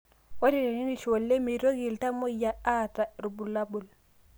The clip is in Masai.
Ore tenerishu oleng meitoki iltamoyia aata irbulabol